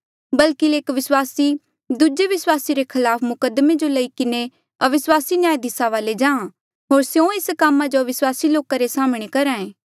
बल्कि एक विस्वासी दूजे विस्वासी रे खलाफ मुकद्दमे जो लेई किन्हें अविस्वासी न्यायधिसा वाले जा होर स्यों एस कामा जो अविस्वासी लोका रे साम्हणें करहे